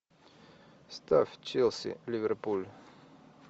ставь челси ливерпуль